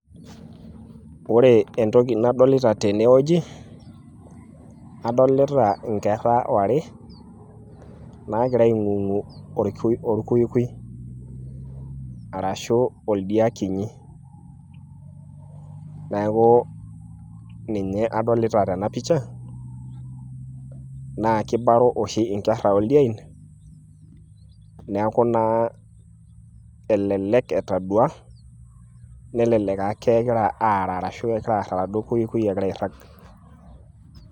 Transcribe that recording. Ore entoki nadolita tenewueji, adolita inkerra ware, nagira aing'ong'u orkuikui. Arashu oldia kinyi. Neeku ninye adolita tena pisha, na kibaro oshi inkerra oldiein, neeku naa elelek etadua, nelelek aa kegira aara ashu kegira aar aladuo kuikui egira airrag.